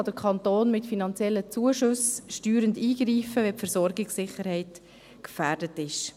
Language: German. Insbesondere kann der Kanton mit finanziellen Zuschüssen steuernd eingreifen, wenn die Versorgungssicherheit gefährdet ist.